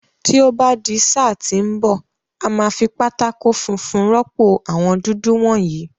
Tí ó bá di sáà tí ń bọ̀, a máa fi pátákó funfun rọ́pò àwọn dúdú wọ̀nyìí.